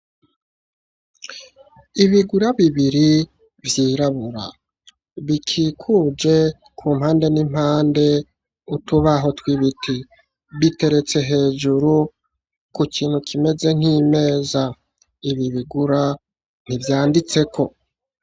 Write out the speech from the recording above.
Ibigura bibiri vyirabura, bikikuje kumpande n'impande utubaho twibiti, biteretse hejuru kukintu kimeze nkimeza, ibi bigura ntivyanditseko.